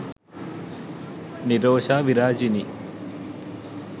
nirosha virajini